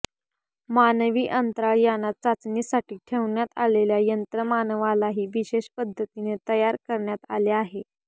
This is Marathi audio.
मानवी अंतराळ यानात चाचणीसाठी ठेवण्यात आलेल्या यंत्रमानवालाही विशेष पद्धतीने तयार करण्यात आले आहे